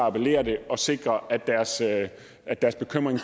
at appellere det og sikre at deres at deres bekymring